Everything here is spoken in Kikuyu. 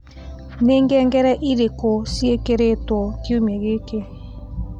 Nĩ ngengere irĩkũ cĩĩkĩĩrĩtwo kiumia gĩkĩ?